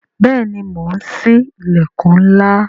Bẹẹni, mo ń sí ilẹkun ńlá